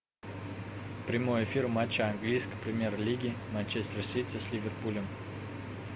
прямой эфир матча английской премьер лиги манчестер сити с ливерпулем